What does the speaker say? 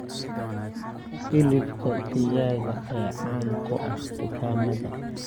Hilibka digaaga ayaa caan ku ah dukaamada.